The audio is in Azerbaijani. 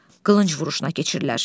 Qılınc vuruşuna keçirlər.